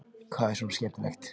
Hvað er svona skemmtilegt?